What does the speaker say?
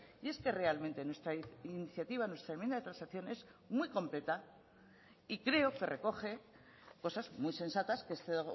y es que realmente nuestra iniciativa nuestra enmienda de transacción es muy completa y creo que recoge cosas muy sensatas que este